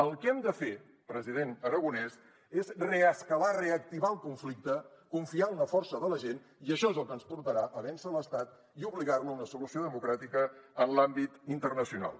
el que hem de fer president aragonès és reescalar reactivar el conflicte confiar en la força de la gent i això és el que ens portarà a vèncer l’estat i obligar lo a una solució democràtica en l’àmbit internacional